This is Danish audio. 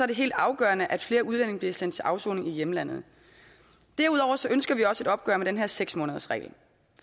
det helt afgørende at flere udlændinge bliver sendt til afsoning i hjemlandet derudover ønsker vi også et opgør med den her seks månedersregel